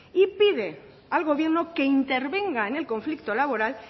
y pide al gobierno que intervenga en el conflicto laboral